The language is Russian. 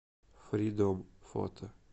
фридом фото